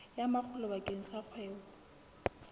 ya makgulo bakeng sa kgwebo